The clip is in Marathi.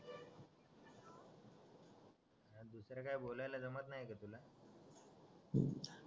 दुसर काय बोलायला जमत नाय का तुला